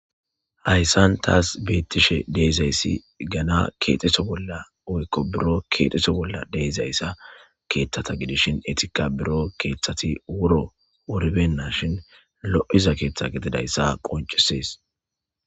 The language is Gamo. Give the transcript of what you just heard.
hayssan taas beettishe deezayssi gana keexeso bolla oykko biro keexxeso bolla deezayssa keeththata gidishin etika biro keeththati wuro orbenna shin lo7iza keeththa getidayssa qoncisees